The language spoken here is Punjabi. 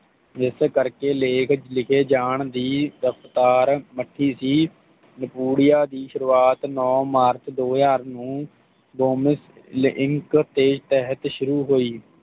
ਜਿਸ ਕਰਕੇ ਲੇਖ ਲਿਖੇ ਜਾਣ ਦੀ ਰਫ਼ਤਾਰ ਮਚੀ ਸੀ ਨਾਪੂਦੀਆਂ ਦੀ ਸ਼ੁਰੂਆਤ ਨੌ ਮਾਰਚ ਦੋ ਹਾਜ਼ਰ ਨੂੰ ਡੋਮਸ ਇੰਕ ਦੇ ਤਹਿਤ ਸ਼ੁਰੂ ਹੁਈ